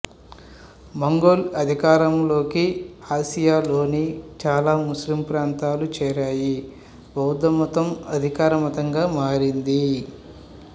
Mongol అధికారంలోకి ఆసియాలోని చాలా ముస్లిమ్ ప్రాంతాలు చేరాయి బౌద్ధమతం అధికార మతంగా మారింది